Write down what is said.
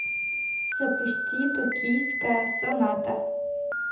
запусти токийская соната